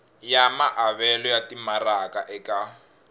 ya maavelo ya timaraka eka